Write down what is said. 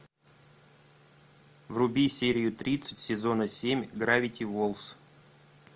вруби серию тридцать сезона семь гравити фолз